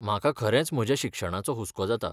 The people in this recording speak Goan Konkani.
म्हाका खरेंच म्हज्या शिक्षणाचो हुस्को जाता.